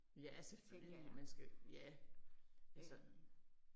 Tænker jeg. Øh